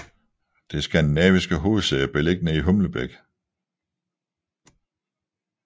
Det skandinaviske hovedsæde er beliggende i Humlebæk